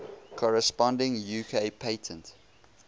corresponding uk patent